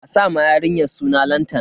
A sa ma yarinyar suna Lantana.